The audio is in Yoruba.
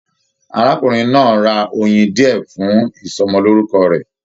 Arákùnrin náà ra oyin diẹ fún ìsọmọlorúkọ rẹ.